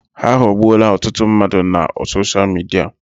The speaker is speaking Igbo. Ha aghọọgbuola ọtụtụ mmadụ na sosha Midia.